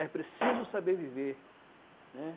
É preciso saber viver, né?